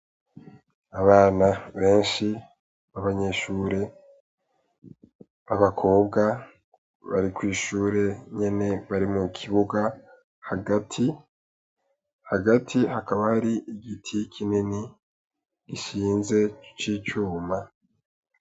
Abana benshi b'abanyeshure, b'abakobwa bari kw'ishure nyene bari mukibuga hagati, hagati hakaba har'igiti kinini gishinze c'icuma.